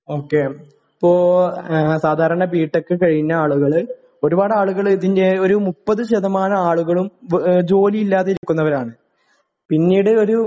ഓ K അപ്പോ സാധാരണ B tech കഴിഞ്ഞ ആളുകള് ഒരുപാട് ആളുകള് ഇതിന്റെ ഒരു മുപ്പത് ശതമാനം ആളുകളും ജോലി ഇല്ലാതെ ഇരിക്കുന്നവരാണ് . പിന്നീട് ഒരു